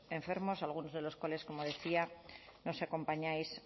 enfermos algunos de los cuales nos acompañáis